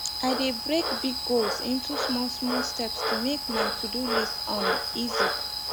i de break big goals into smallsmall step to make my todo list um easy